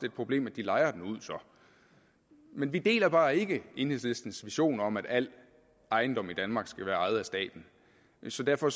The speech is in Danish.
et problem at de lejer den ud men vi deler bare ikke enhedslistens vision om at al ejendom i danmark skal være ejet af staten så derfor